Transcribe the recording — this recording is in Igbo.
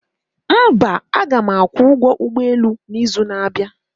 mba, aga m akwụ ụgwọ ụgbọ elu n'izu na-abịa